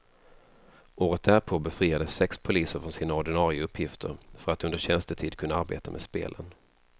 Året därpå befriades sex poliser från sina ordinare uppgifter för att under tjänstetid kunna arbeta med spelen.